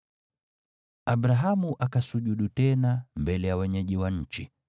Abrahamu akasujudu tena, mbele ya wenyeji wa nchi,